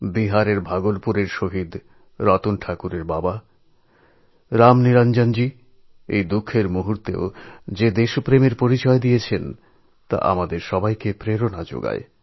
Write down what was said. বিহারের ভাগলপুরে শহিদ রতন ঠাকুরের পিতা রামনিরঞ্জনজী এই দুঃখের সময়েও উদ্দীপনার সঙ্গে দৃঢ় সঙ্কল্পের যে পরিচয় দিয়েছেন তা আমাদের সকলকে প্রেরণা জোগায়